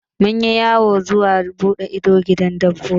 Mun yi yawon buɗe ido zuwa gidan dabbobi.